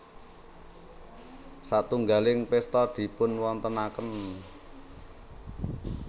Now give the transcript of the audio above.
Satunggaling pésta dipunwontenaken